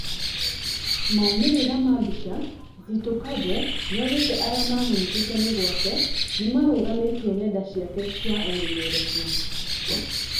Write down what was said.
Maumĩrĩra ma mbica, Zitto Kabwe nĩaugĩte arĩa mamũnyitĩte mĩgwate nĩmarũgamĩtie nenda ciake cia ũmemerekia